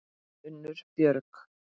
Unnur Björg.